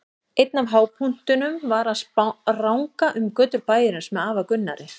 Einn af hápunktunum var að spranga um götur bæjarins með afa Gunnari.